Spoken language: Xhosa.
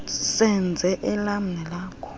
senze elam nelakho